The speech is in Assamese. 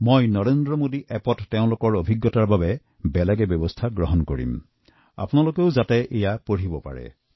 মইও নৰেন্দ্ৰ মোদী এপত তেওঁলোকৰ ভাৱনাৰ বাবে এটা পৃথক কথা লিখছো যাতে আপোনালোকে সেইবোৰ পঢ়িব পাৰে